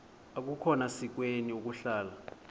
akukhona sikweni ukuhlala